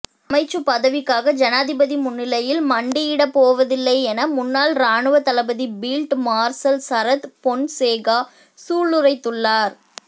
அமைச்சுப் பதவிக்காக ஜனாதிபதி முன்னிலையில் மண்டியிடப் போவதில்லையென முன்னாள் இராணுவத் தளபதி பீல்ட் மார்சல் சரத் பொன்சேகா சூளுரைத்துள்ளார்